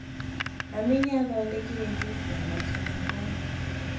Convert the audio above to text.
Mami nĩathondekire juici ya macungwa